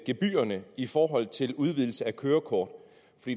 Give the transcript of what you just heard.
gebyrerne i forhold til udvidelse af kørekort